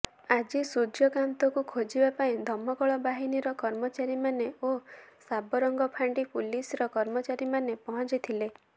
ଆଜି ସୂର୍ଯ୍ୟକାନ୍ତକୁ ଖୋଜିବା ପାଇଁ ଦମକଳ ବାହିନୀର କର୍ମଚାରୀମାନେ ଓ ସାବରଙ୍ଗ ଫାଣ୍ଡି ପୁଲିସର କର୍ମଚାରୀମାନେ ପହଞ୍ଚି ଥିଲେ